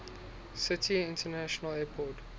city international airport